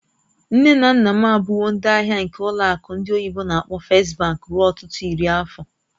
Nne na nna m abụwo ndị ahịa nke ụlọ akụ ndị oyibo n'akpọ "First Bank" ruo ọtụtụ iri afọ.